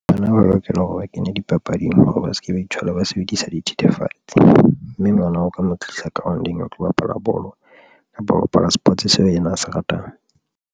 Bana ba lokela hore ba kenye dipapading hore ba se ke ba ithola ba sebedisa dithethefatsi, mme ngwana o ka mo tlisa ground-ong a tlo bapala bolo kapa ho bapala sports seo yena a se ratang.